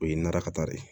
O ye nɛrɛ kata de ye